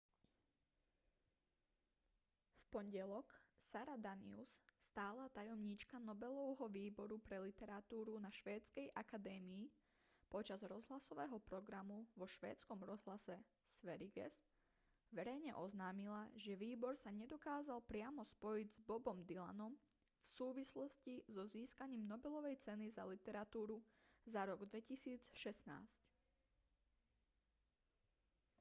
v pondelok sara danius stála tajomníčka nobelovho výboru pre literatúru na švédskej akadémii počas rozhlasového programu vo švédskom rozhlase sveriges verejne oznámila že výbor sa nedokázal priamo spojiť s bobom dylanom v súvislosti so získaním nobelovej ceny za literatúru za rok 2016